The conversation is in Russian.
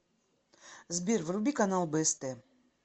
сбер вруби канал бст